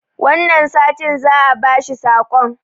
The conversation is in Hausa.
wannan satin za a bashi sakon